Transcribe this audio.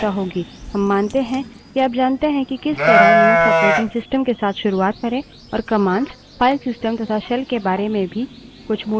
हम मानते हैं कि आप जानते हैं कि किस तरह लिनक्स operating systems के साथ शुरुआत करे और commands file systems तथा shell के बारे में कुछ मूलभूत ज्ञान भी है